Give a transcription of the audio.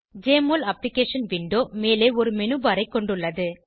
JMOL application window மேலே ஒரு menu bar ஐ கொண்டுள்ளது